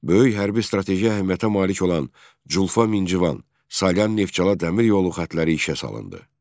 Böyük hərbi strateji əhəmiyyətə malik olan Culfa Mincivan, Salyan Neftçala dəmir yolu xətləri işə salındı.